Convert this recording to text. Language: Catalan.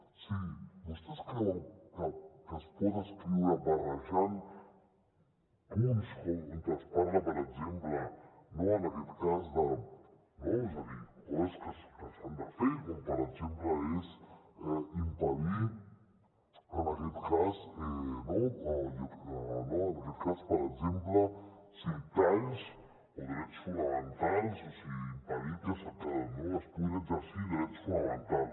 o sigui vostès creuen que es pot escriure barrejant punts on es parla per exemple en aquest cas de coses que s’han de fer com per exemple és impedir talls o drets fonamentals o sigui impedir que es puguin exercir drets fonamentals